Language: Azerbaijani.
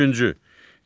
Üçüncü.